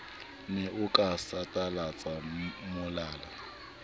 ne o ka satalatsa molala